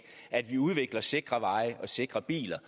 at vi udvikler sikre veje og sikre biler